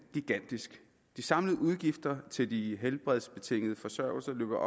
gigantisk de samlede udgifter til de helbredsbetingede forsørgelser løber